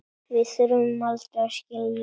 Við þurfum aldrei að skilja.